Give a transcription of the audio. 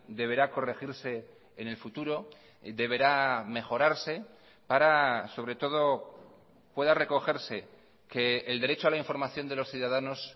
deberá corregirse en el futuro deberá mejorarse para sobre todo pueda recogerse que el derecho a la información de los ciudadanos